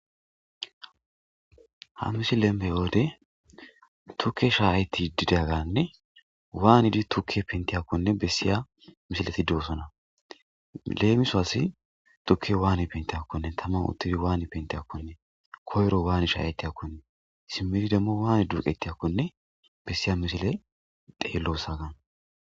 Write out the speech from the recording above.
ha musi lemme yoode tukke shaaayti didaganne waanidi tukke pentiyakkonne bessiya misileti duosona leemiso asi tukke waani pentiyakkonne taman uttidi waani pente akkonne koyro waani shayayti akkonne simmidi demmo waanid duqettiyakkone bessiya misile deellosagaan